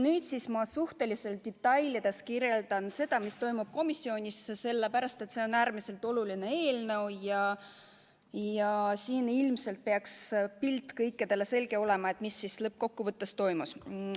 Nüüd ma suhteliselt detailselt kirjeldan seda, mis toimus komisjonis, sellepärast et see on äärmiselt oluline eelnõu ja kõikidel peaks olema selge pilt, mis siis lõppkokkuvõttes toimus.